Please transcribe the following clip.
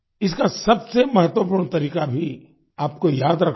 इसका सबसे महत्वपूर्ण तरीका भी आपको याद रखना है